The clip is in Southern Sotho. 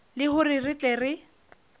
le hore re tle re